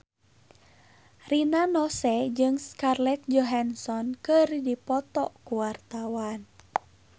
Rina Nose jeung Scarlett Johansson keur dipoto ku wartawan